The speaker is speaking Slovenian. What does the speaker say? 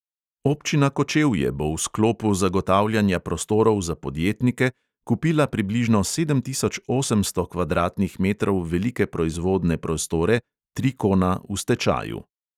Občina kočevje bo v sklopu zagotavljanja prostorov za podjetnike kupila približno sedem tisoč osemsto kvadratnih metrov velike proizvodne prostore trikona v stečaju.